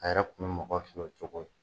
A yɛrɛ kun mo mɔgɔw o cogo la